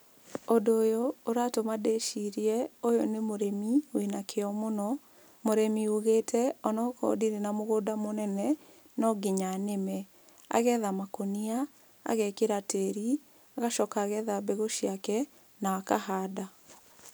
Ũndũ ũyũ ũratũma ndĩcirie ũyũ nĩ mũrĩmi wĩna kĩo mũno, mũrĩmi ũgĩte onakorwo ndirĩ na mũgũnda mũnene, no nginya nĩme, agetha makũnia, agekĩra tĩri, agacoka agetha mbegũ ciake na akahanda.